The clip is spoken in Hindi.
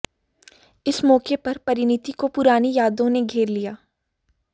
इस मौके पर परिणीति को पुरानी यादों ने घेर लिया